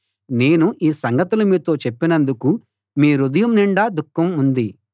నేను ఈ సంగతులు మీతో చెప్పినందుకు మీ హృదయం నిండా దుఃఖం ఉంది